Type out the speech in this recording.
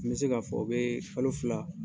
N bɛ se k'a fɔ u bɛ kalo fila